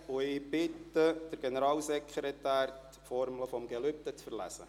Ich bitte den Generalsekretär, die Formel des Gelübdes zu verlesen.